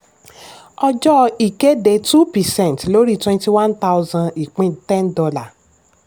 ọjọ́ ìkéde: two percent lórí twenty one thousand ìpín [ten dollar